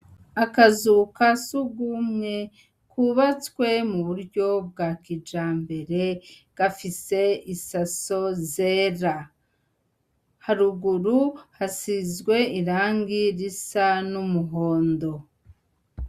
Akazu ka sugumwe kwubatswe mu buryo bwa kijambere gafise isaso zera. Haruguru hasizwe irangi risa n'umuhondo .